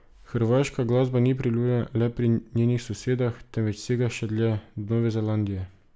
Hrvaška glasba ni priljubljena le pri njenih sosedah, temveč sega še dlje, do Nove Zelandije.